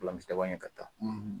Filamisi laban ɲɛ ka taa